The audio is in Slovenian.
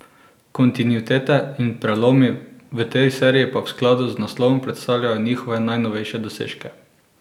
Kontinuitete in prelomi, v tej seriji pa v skladu z naslovom predstavljajo njihove najnovejše dosežke.